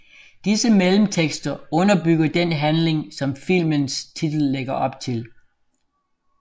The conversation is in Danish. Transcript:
Disse mellemtekster underbygger den handling som filmens titel lægger op til